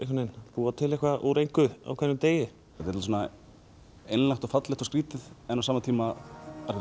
búa eitthvað úr engu á hverjum degi þetta er svo einlægt og fallegt og skrítið en á sama tíma